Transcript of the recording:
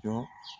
Jɔ